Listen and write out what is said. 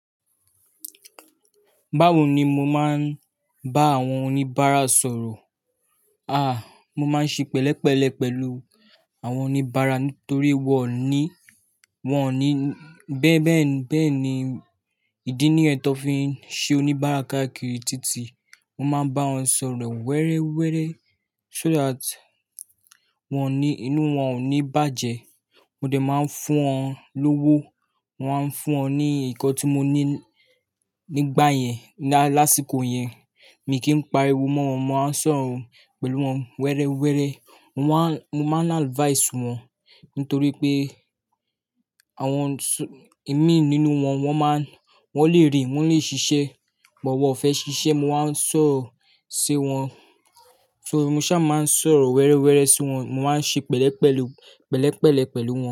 Báwo ni mo máa ń bá àwọn oníbàárà sọ̀rọ̀? Àh, mo máa ń ṣe pẹ̀lẹ́pẹ̀lẹ́ pẹ̀lú àwọn oníbàárà nítorí wọ́n ní, wọ́n ní bẹ́ẹ̀ bẹ́ẹ̀ bẹ́ẹ̀ ni ìdí nìyẹn tán fi ń ṣe oníbàárà káàkiri títí mo máa bá wọn sọ̀rọ̀ wẹ́rẹ́wẹ́rẹ́ so that wọ́n ní, inú wọn ò ní bàjẹ́. Mo dẹ̀ máa ń fún wọn lówó, wọ́n á ń fún ọ ní nǹkan tí mo ní nígbà yẹn, lásìkò yẹn. Mi kì í pariwo mọ́ wọn, mo máa ń sọ̀rọ̀ pẹ̀lú wọn wẹ́rẹ́wẹ́rẹ́. Wọ́n má, mo máa ń advise wọn nítorí pé àwọn imí nínú wọn, wọ́n máa ń, wọ́n lè rìn, wọ́n lè ṣiṣẹ́. But wọn ò fẹ́ ṣiṣẹ́, mo wa ń sọ̀rọ̀ sí wọn. So mo ṣá máa ń sọ̀rọ̀ wẹ́rẹ́wẹ́rẹ́ sí wọn, mo máa ń ṣe pẹ̀lẹ́pẹ̀lú, pẹ̀lẹ́pẹ̀lẹ́ pẹ̀lú wọn.